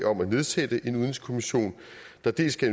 om at nedsætte en udenrigskommission der dels skal